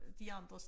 De andres